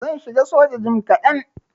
Zan shiga soja jim kadan.